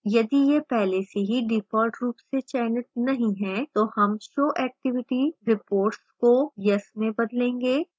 यदि यह पहले से ही default रूप से चयनित नहीं है तो हम show activity reports को yes में बदलेंगे